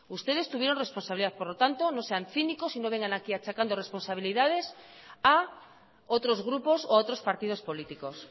ustedes tuvieron responsabilidad por lo tanto no sean cínicos y no vengan aquí achacando responsabilidades a otros grupos o a otros partidos políticos